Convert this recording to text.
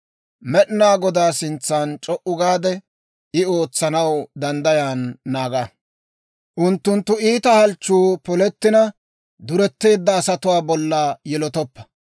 Med'inaa Godaa sintsan c'o"u gaade, I ootsanaw, danddayan naaga. Unttunttu iita halchchuu polettina, duretteedda asatuwaa bolla yilotoppa.